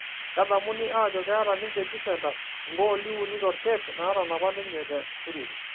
kedamuni aajo keeta ninje jufentas igoolo uni torkep naatanapa ninje te turin